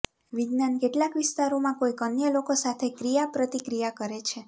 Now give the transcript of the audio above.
વિજ્ઞાન કેટલાક વિસ્તારોમાં કોઈક અન્ય લોકો સાથે ક્રિયાપ્રતિક્રિયા કરે છે